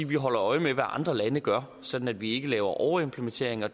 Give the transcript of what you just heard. vi holder øje med hvad andre lande gør sådan at vi ikke laver overimplementering og